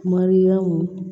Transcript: Mariyamu